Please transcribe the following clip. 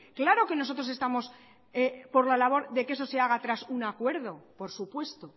claro que nosotros estamos por la labor de que eso se haga tras un acuerdo por supuesto